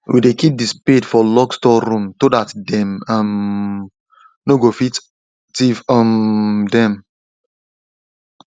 we dey keep the spade for locked store room to that them um nor go fit thief um them